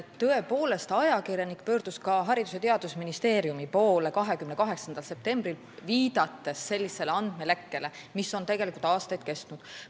Tõepoolest, ajakirjanik pöördus 28. septembril ka Haridus- ja Teadusministeeriumi poole, viidates andmelekkele, mis on tegelikult aastaid kestnud.